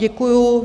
Děkuju.